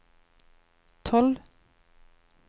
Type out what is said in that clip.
tolv